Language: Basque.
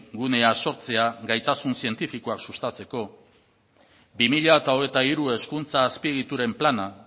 gunea sortzea gaitasun zientifikoak sustatzeko bi mila hogeita hiru hezkuntza azpiegituren plana